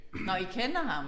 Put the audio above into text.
Nåh I kender ham